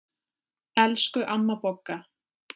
Elsku amma Bogga.